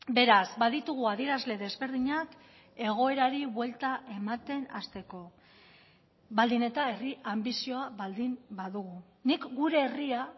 beraz baditugu adierazle desberdinak egoerari buelta ematen hasteko baldin eta herri anbizioa baldin badugu nik gure herria